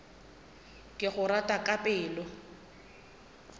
ke go rata ka pelo